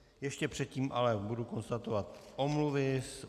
Ještě předtím ale budu konstatovat omluvy.